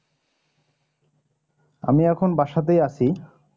আমি এখন বাসাতেই আছি।